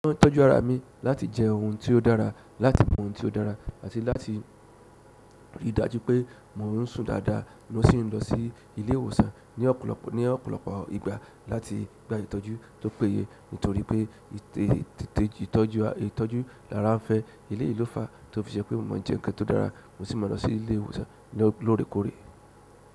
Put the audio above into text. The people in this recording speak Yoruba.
Ó ń tọ́jú ara mi láti jẹ oun tí ó dára, láti mu oun tí ó dára àti láti rí i dájú pé mò ń sùn dáadáa, mo sì ń lọ sí ilé ìwòsàn ní ọ̀pọ̀lọpọ̀ ìgbà láti gba ìtọ́jú tó péye. Nítorí pé tètè ìtọ́jú lára ń fẹ́, eleyi ló fà á tí ó fi ṣe pé mo mọ jẹun kan tó dára, mo sì máa lọ sí ilé ìwòsàn lóòrèkóòrè.